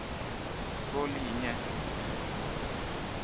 solinye